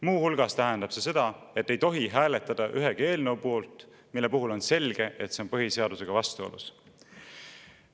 Muu hulgas tähendab see seda, et me ei tohi hääletada ühegi eelnõu poolt, kui on selge, et see on põhiseadusega vastuolus.